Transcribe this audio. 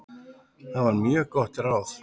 Það var mjög gott ráð.